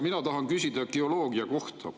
Mina tahan küsida geoloogia kohta.